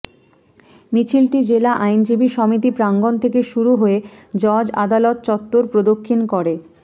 মিছিলটি জেলা আইনজীবী সমিতি প্রাঙ্গণ থেকে শুরু হয়ে জজ আদালত চত্ত্বর প্রদক্ষিণ করে